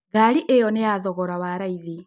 Garĩ ĩno nĩya thogora wa raĩthi